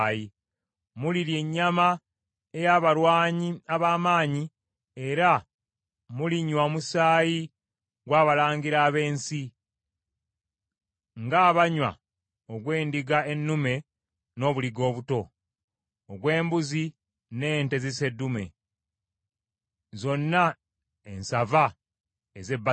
Mulirya ennyama ey’abalwanyi ab’amaanyi, era mulinywa omusaayi gw’abalangira ab’ensi, ng’abanywa ogw’endiga ennume n’obuliga obuto, ogw’embuzi n’ente ziseddume, zonna ensava ez’e Basani.